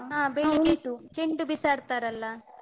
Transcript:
ಚೆಂಡು ಬಿಸಾಡ್ತಾರಲ್ಲಾ?